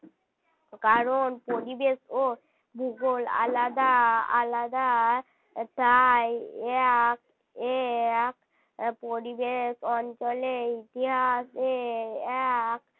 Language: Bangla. কারণ পরিবেশ ও ভূগোল আলাদা আলাদা আর তাই এক এ এক পরিবেশ অঞ্চলেই ইতিহাসের এক